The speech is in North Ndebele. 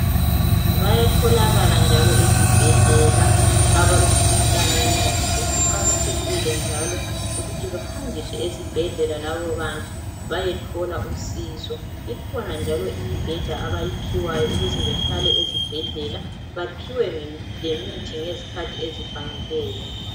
bayatholakala njalo ezibhedlela abalomkhuhlane wenqondo kuqakathekile njalo ukuthi behanjiswe esibhedlela labobabantu bayethola usizo ikhonanjalo imibheda abayiphiwayo ukuze bahlale ezibhedlela baphiwe lemithi ngezikhathi ezifaneleyo